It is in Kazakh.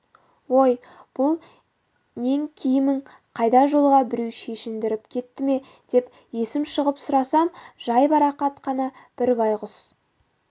ой бұл нең киімің қайда жолда біреу шешіндіріп кетті ме деп есім шығып сұрасам жайбарақат қана бір байғұс